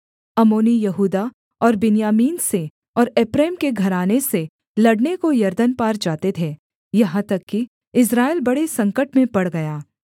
अम्मोनी यहूदा और बिन्यामीन से और एप्रैम के घराने से लड़ने को यरदन पार जाते थे यहाँ तक कि इस्राएल बड़े संकट में पड़ गया